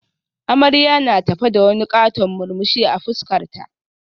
Amarya na tafe da wani katon murmushi a fuskarta